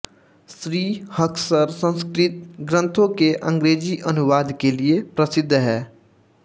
श्री हक्सर संस्कृत ग्रन्थों के अंग्रेजी अनुवाद के लिए प्रसिद्ध हैं